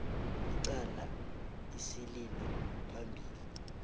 icala isililo phambili